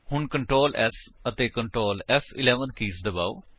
ਹੁਣ ctrl S ਅਤੇ Ctrl ਫ਼11 ਕੀਜ ਦਬਾਓ